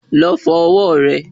Lọ fọ ọwọ́ rẹ